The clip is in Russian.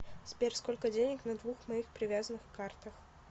сбер сколько денег на двух моих привязанных картах